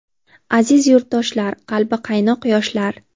Aziz yurtdoshlar, qalbi qaynoq yoshlar!.